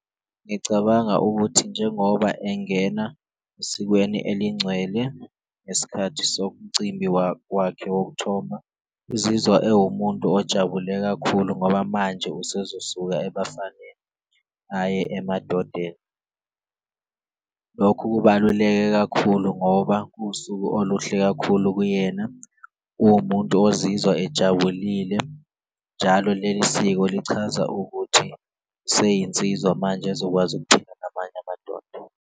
Ngicabanga ukuthi njengoba engena esikweni elingcwele ngesikhathi somcimbi wakhe wokuthomba, uzizwa ewumuntu ojabule kakhulu ngoba manje esezosuka ebafaneni aye emadodeni. Lokhu kubaluleke kakhulu ngoba kuwusuku oluhle kakhulu kuyena uwumuntu ozizwa ejabulile, njalo leli siko lichaza ukuthi seyinsizwa manje, ezokwazi namanye amadoda.